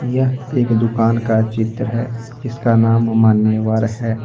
यह एक दुकान का चित्र है इसका नाम मान्यवर है।